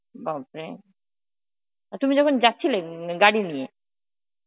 বাপরে! আর তুমি তখন যাচ্ছিলে গাড়ি নিয়ে